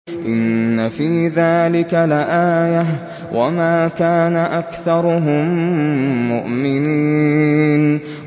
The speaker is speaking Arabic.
إِنَّ فِي ذَٰلِكَ لَآيَةً ۖ وَمَا كَانَ أَكْثَرُهُم مُّؤْمِنِينَ